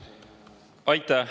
Aitäh!